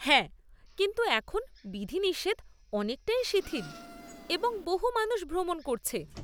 হ্যাঁ, কিন্তু এখন বিধিনিষেধ অনেকটাই শিথিল এবং বহু মানুষ ভ্রমণ করছে।